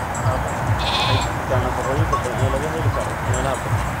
Baradhadu waxay ku jirtaa nafaqooyin badan oo laga heli karo meelaha badan.